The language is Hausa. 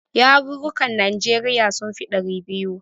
Yarurrukan Najeriya sun fi ɗari biyu.